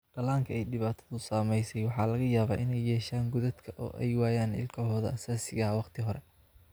Dhallaanka ay dhibaatadu saameysey waxaa laga yaabaa in ay yeeshaan godadka oo ay waayaan ilkahooda asaasiga ah wakhti hore.